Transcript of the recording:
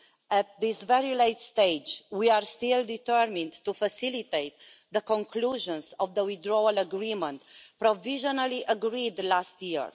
At this very late stage, we are still determined to facilitate the conclusions of the Withdrawal Agreement provisionally agreed last year.